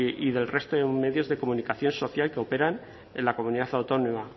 y del resto de medios de comunicación social que operan en la comunidad autónoma